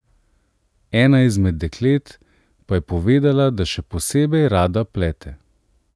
Ena izmed deklet, pa je povedala, da še posebej rada plete.